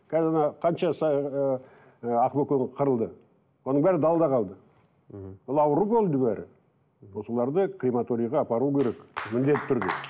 қазір мына қанша ыыы ы ақбөкен қырылды оның бәрі далада қалды мхм ол ауру болды бәрі осыларды крематорийға апару керек міндетті түрде